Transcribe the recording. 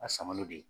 A samalen de ye